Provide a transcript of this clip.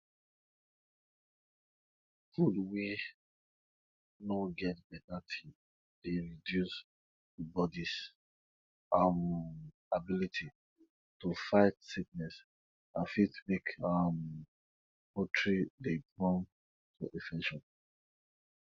food wey no get beta tin dey reduce di bodis um ability to fight sickness and fit make um poultry dey prone to infection